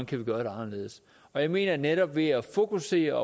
kan gøre anderledes jeg mener at netop ved at fokusere